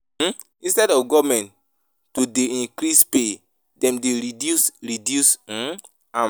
um Instead of government to dey increase pay dem dey reduce reduce um am